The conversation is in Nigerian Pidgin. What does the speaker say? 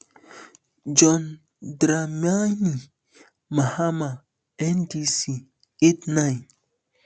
john dramani mahama ndc eight nine